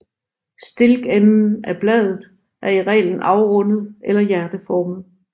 Stilkenden af bladet er i reglen afrundet eller hjerteformet